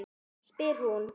spyr hún.